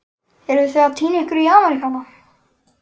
Eruð þið að týna ykkur í Ameríkana?